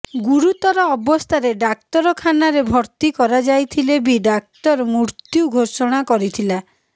ଗୁରୁତର ଅବସ୍ଥାରେ ଡ଼ାକ୍ତରଖାନାରେ ଭର୍ତ୍ତି କରାଯାଇଥିଲେ ବି ଡ଼ାକ୍ତର ମୃତ୍ୟୁ ଘୋଷଣା କରିଥିଲା